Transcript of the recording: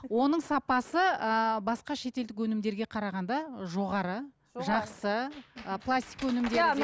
оның сапасы ыыы басқа шетелдік өнімдерге қарағанда жоғары жақсы пластик өнімдері де